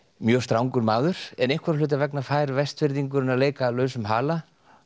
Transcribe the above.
mjög strangur maður en einhverra hluta vegna fær Vestfirðingurinn að leika lausum hala